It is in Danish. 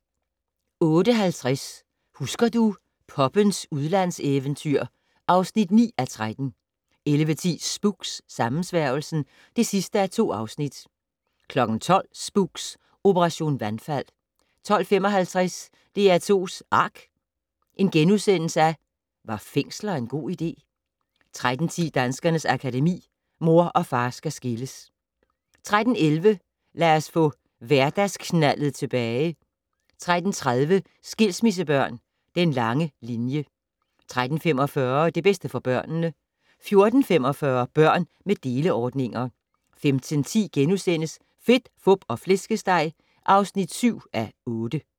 08:50: Husker du - poppens udlandseventyr (9:13) 11:10: Spooks: Sammensværgelsen (2:2) 12:00: Spooks: Operation vandfald 12:55: DR2's ARK - Var fængsler en god idé? * 13:10: Danskernes Akademi: Mor og far skal skilles 13:11: Lad os få hverdagsknaldet tilbage 13:30: Skilsmissebørn - Den lange linje 13:45: Det bedste for børnene 14:45: Børn med deleordninger 15:10: Fedt, Fup og Flæskesteg (7:8)*